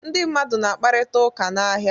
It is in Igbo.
Ndị mmadụ na-akparịta ụka n'ahịa.